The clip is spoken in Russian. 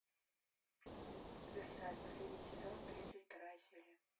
версаль последний сезон тридцать вторая серия